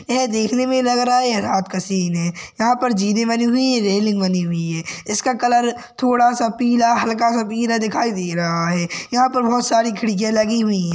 यह देखने मे लग रहा है यह रात का सीन है। यहाँ पर जीने बनी हुई है। रेलिंग बनी हुई है इसका कलर थोड़ासा पीला हल्का सा हीरा दिखाई दे रहा है। यहाँ पर बहुत सारी खिड़किया लगी हुई है।